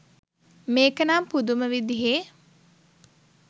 මේක නම් පුදුම විදිහෙ